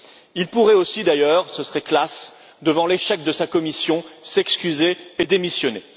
Il pourrait aussi d'ailleurs ce serait classe devant l'échec de sa Commission, s'excuser et démissionner.